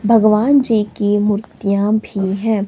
भगवान जी की मूर्तियाँ भीं हैं।